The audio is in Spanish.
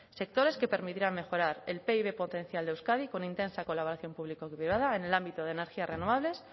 sectores que permitirán mejorar el pib potencial de euskadi con intensa colaboración público privada en el ámbito de energías renovables